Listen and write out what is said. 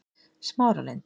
Smáralind